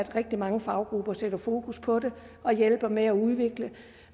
rigtig mange faggrupper sætter fokus på det og hjælper med at udvikle